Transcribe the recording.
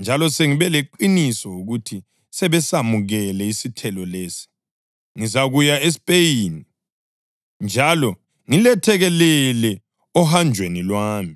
njalo sengibe leqiniso ukuthi sebesamukele isithelo lesi, ngizakuya eSpeyini njalo ngilethekelele ohanjweni lwami.